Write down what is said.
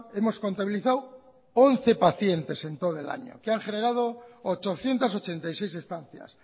hemos contabilizado once pacientes en todo el año que han generado ochocientos ochenta y seis estancias